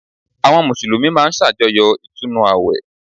Àwọn Mùsùlùmí máa n sàjọyọ̀ Ìtúnu àwẹ̀